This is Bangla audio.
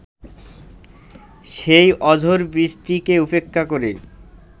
সেই অঝোর বৃষ্টিকে উপেক্ষা করে